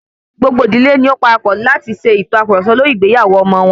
Gbogbo ìdílé ni ó parapọ̀ láti ṣe ìtàkurọ̀sọ lórí ìgbéyàwó ọmọ wọn.